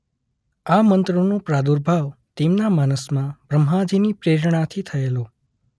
આ મંત્રોનો પ્રાદુર્ભાવ તેમના માનસમાં બ્રહ્માજીની પ્રેરણાથી થયેલો.